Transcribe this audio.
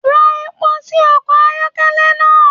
Ra epo sí ọkọ ayọkẹlẹ náà.